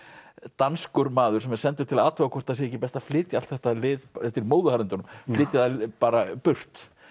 danskur maður sem er sendur til að athuga hvort það sé ekki best að flytja allt þetta lið þetta er í móðuharðindunum flytja það bara burt